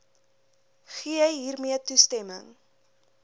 gee hiermee toestemming